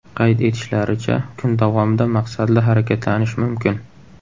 Qayd etishlaricha, kun davomida maqsadli harakatlanish mumkin.